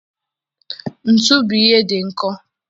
Ntu bụ ihe dị nkọ